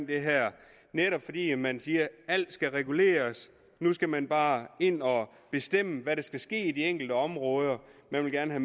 det her fordi man siger at alt skal reguleres nu skal man bare ind og bestemme hvad der skal ske i de enkelte områder man vil gerne